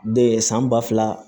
san ba fila